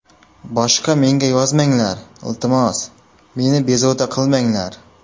Boshga menga yozmanglar, iltimos, meni bezovta qilmanglar.